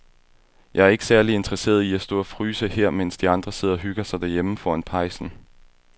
Jeg er ikke særlig interesseret i at stå og fryse her, mens de andre sidder og hygger sig derhjemme foran pejsen.